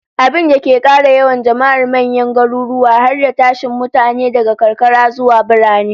Abinda ke kara yawan jama'ar manyan garuruwa, har da tashin mutane daga karkara zuwa birane